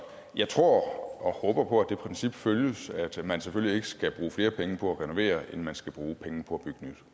jeg tror og håber på at det princip følges at man selvfølgelig ikke skal bruge flere penge på at renovere end man skal bruge penge på